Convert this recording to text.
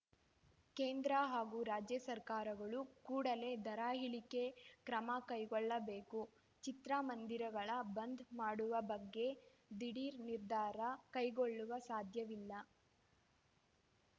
ಕೇಂದ್ರ ಹಾಗೂ ರಾಜ್ಯ ಸರ್ಕಾರಗಳು ಕೂಡಲೇ ದರ ಇಳಿಕೆಗೆ ಕ್ರಮ ಕೈಗೊಳ್ಳಬೇಕು ಚಿತ್ರ ಮಂದಿರಗಳ ಬಂದ್‌ ಮಾಡುವ ಬಗ್ಗೆ ದಿಢೀರ್‌ ನಿರ್ಧಾರ ಕೈಗೊಳ್ಳಲು ಸಾಧ್ಯವಿಲ್ಲ